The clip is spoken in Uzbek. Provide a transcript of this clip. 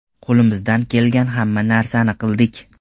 Qo‘limizdan kelgan hamma narsani qildik.